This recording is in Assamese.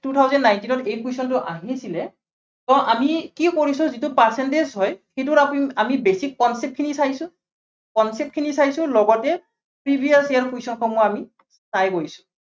two thousand nineteen ত এই question টো আহিছিলে। so আমি কি কৰিছো, যিটো percentage হয়, সেইটোৰ আমি basic concept খিনি চাইছো, concept খিনি চাইছো, লগতে previous year ৰ question বোৰ আমি চাই গৈছো